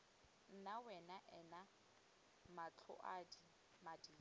nna wena ena matlhaodi madiri